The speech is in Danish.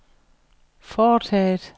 foretaget